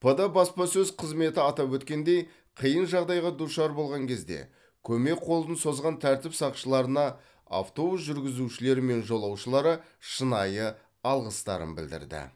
пд баспасөз қызметі атап өткендей қиын жағдайға душар болған кезде көмек қолын созған тәртіп сақшыларына автобус жүргізушілері мен жолаушылары шынайы алғыстарын білдірді